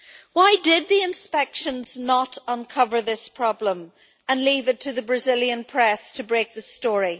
Why did the inspections not uncover this problem and leave it to the Brazilian press to break the story?